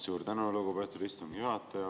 Suur tänu, lugupeetud istungi juhataja!